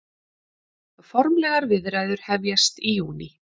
Formlegar viðræður hefjast í júní